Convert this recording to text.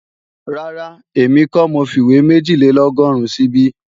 Rárá, èmi kọ́ mo fìwé méjìlélọ́gọ́rùn síbí